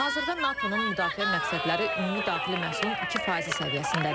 Hazırda NATO-nun müdafiə məqsədləri ümumi daxili məhsulun 2% səviyyəsindədir.